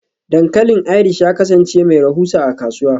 Dankalin Irish ya kasance mai rahusa a kasuwa.